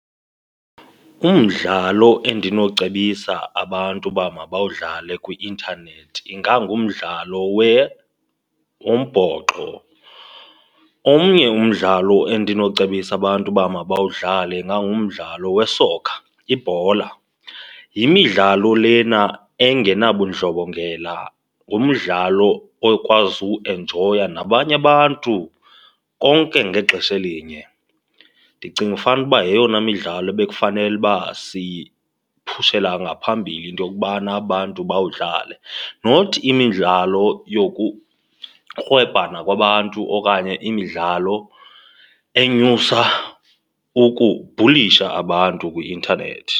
Umdlalo endinowucebisa abantu uba mabawudlale kwi-intanethi ingangumdlalo wombhoxo. Omnye umdlalo endinocebisa abantu uba mabawudlale ingangumdlalo we-soccer, ibhola. Yimidlalo lena engenabudlobongela, ngumdlalo okwazi uwuenjoya nabanye abantu konke ngexesha elinye. Ndicinga fanele uba yeyona midlalo ebekufanele uba siyiphushela ngaphambili into yokubana abantu bawudlale, not imidlalo yokukrwebhana kwabantu okanye imidlalo enyusa ukubhulisha abantu kwi-intanethi.